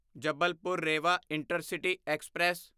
Jabalpur Rewa intercity express